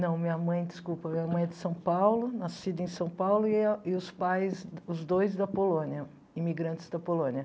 Não, minha mãe, desculpa, minha mãe é de São Paulo, nascida em São Paulo, e o e os pais, os dois da Polônia, imigrantes da Polônia.